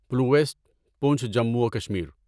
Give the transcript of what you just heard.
پلویسٹ پونچھ جموں و کشمیر